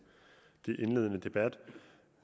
indledende debat